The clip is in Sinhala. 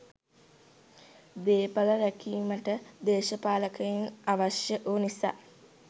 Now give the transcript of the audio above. දේපළ රැකීමට දේශපාලකයන් අවශ්‍ය වූ නිසා